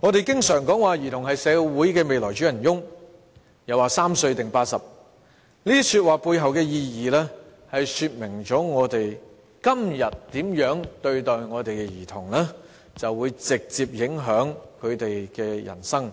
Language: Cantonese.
我們經常說兒童是社會未來的主人翁，又說"三歲定八十"，這些說話背後的意義，說明我們今天如何看待兒童，會直接影響他們的人生，